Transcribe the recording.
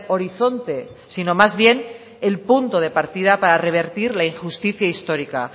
horizonte sino más bien el punto de partida para revertir la injusticia histórica